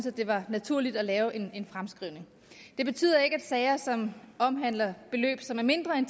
at det var naturligt at lave en fremskrivning det betyder ikke at sager som omhandler beløb som er mindre end